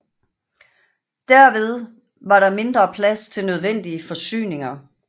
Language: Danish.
Derved var der mindre plads til nødvendige forsyninger